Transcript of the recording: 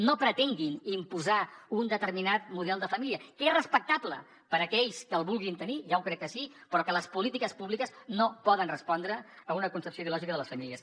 no pretenguin imposar un determinat model de família que és respectable per a aquells que el vulguin tenir ja ho crec que sí però que les polítiques públiques no poden respondre a una concepció ideològica de les famílies